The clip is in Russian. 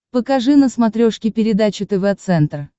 покажи на смотрешке передачу тв центр